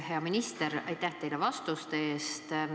Hea minister, aitäh teile vastuste eest!